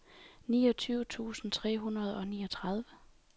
niogtyve tusind tre hundrede og niogtredive